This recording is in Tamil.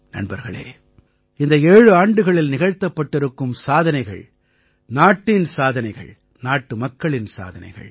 நண்பர்களே இந்த ஏழாண்டுகளில் நிகழ்த்தப்பட்டிருக்கும் சாதனைகள் நாட்டின் சாதனைகள் நாட்டுமக்களின் சாதனைகள்